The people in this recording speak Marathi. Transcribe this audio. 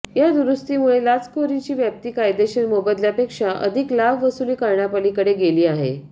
या दुरुस्तीमुळे लाचखोरीची व्याप्ती कायदेशीर मोबदल्यापेक्षा अधिक लाभ वसूल करण्यापलीकडे गेली आहे